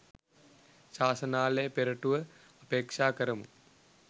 ශාසනාලය පෙරටුව අපේක්ෂා කරමු.